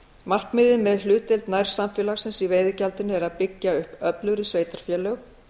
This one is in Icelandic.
markmiðið með hlutdeild nærsamfélagsins í veiðigjaldinu er að byggja upp öflugri sveitarfélög